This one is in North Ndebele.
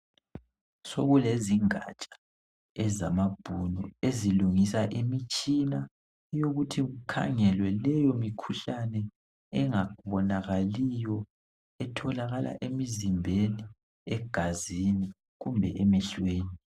Sekulezingatsha ezamabhunu ezilungisa imitshina yokuthi kukhangelwe leyo mikhuhlane engabonakaliyo etholakala emizimbeni, egazini kumbe emehlweni.